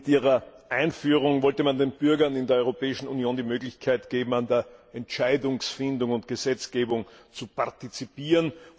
Mit ihrer Einführung wollte man den Bürgern in der Europäischen Union die Möglichkeit geben, an der Entscheidungsfindung und Gesetzgebung zu partizipieren.